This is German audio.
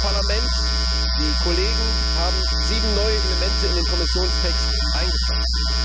Das Parlament, die Kollegen haben sieben neue Elemente in den Kommissionstext eingebracht.